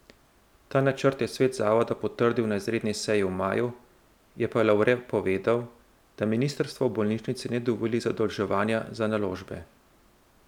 Ta načrt je svet zavoda potrdil na izredni seji v maju, je pa Lavre povedal, da ministrstvo bolnišnici ne dovoli zadolževanja za naložbe.